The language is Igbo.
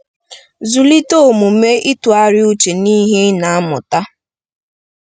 Zụlite omume ịtụgharị uche n'ihe ị na-amụta.